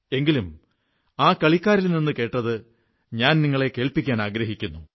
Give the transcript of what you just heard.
എങ്കിലും ആ കളിക്കാരിൽ നിന്നു കേട്ടത് ഞാൻ നിങ്ങളെ കേൾപ്പിക്കാനാഗ്രഹിക്കുന്നു